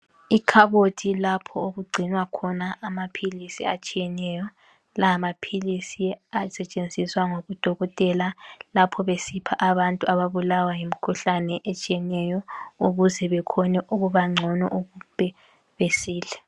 Ikhabothi ilapho okugcinwa khona amaphilisi atshiyeneyo. Lamaphilisi asetshenziswa ngodokotela lapha besipha abantu ababulawa yimkhuhlane etshiyeneyo ukuze bekhone ukubangcono, ukuze besile.